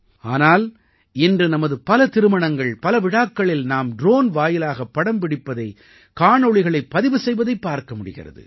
ஆனால் இன்று நமது பல திருமணங்கள் பல விழாக்களில் நாம் ட்ரோன் வாயிலாக படம் பிடிப்பதை காணொளிகளைப் பதிவு செய்வதைப் பார்க்க முடிகிறது